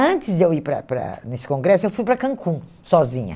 Antes de eu ir para para nesse congresso, eu fui para Cancún, sozinha.